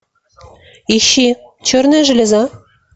ищи черная железа